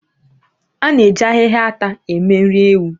A na-eji ahịhịa ata eme nri ewu